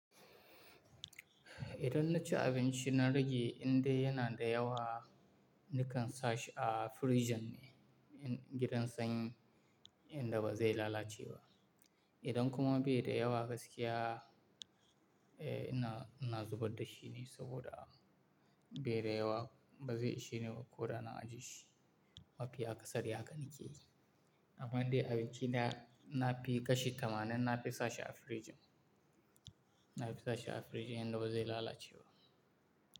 Idan na ci abinci na rage indai yana da yawa nakan sa shi a fridgen ne, gidan sanyi inda ba zai lalace ba. Idan kuma bai da yawa gaskiya, eh ina, ina zubar da shi ne saboda a bai da yawa ba zai ishe ni ba ko da na ajiye shi. Mafiya kasada ya kan yake yi. Amma indai abinci na, na fi kashe tamanin na fi sa shi a fridgen. Na fi sa shi a fridgen inda bazai lalace ba.